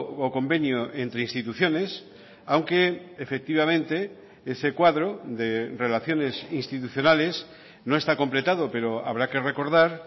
o convenio entre instituciones aunque efectivamente ese cuadro de relaciones institucionales no está completado pero habrá que recordar